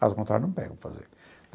Caso contrário, não pego para fazer.